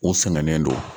U sɛgɛnnen don